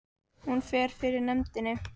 Hún fer fyrir nefndinni